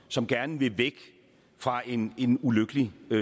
som gerne vil væk fra en en ulykkelig